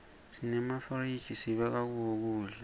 senemafizij sibeka kuwo kudza